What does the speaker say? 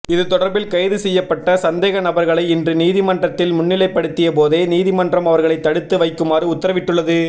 இது தொடர்பில் கைது செய்யப்பட்ட சந்தேகநபர்களை இன்று நீதிமன்றில் முன்னிலைப்படுத்திய போதே நீதிமன்றம் அவர்களை தடுத்து வைக்குமாறு உத்தரவிட்டுள்ளது